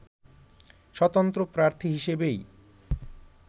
স্বতন্ত্র প্রার্থী হিসেবেই